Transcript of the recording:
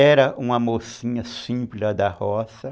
Era uma mocinha simples lá da roça.